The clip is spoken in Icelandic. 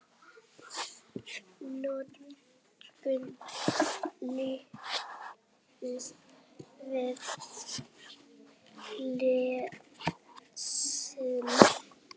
Augun límast við skjáinn.